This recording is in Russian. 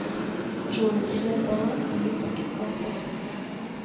джой узнать баланс на нескольких картах